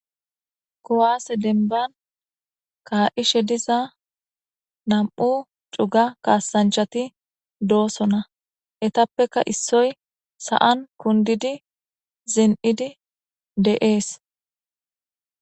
Kuwasse denban ka'ishe diza nam'u cuga kasaanchati doosona; eetappeka issoy sa'an kundidi zin'idi de'es.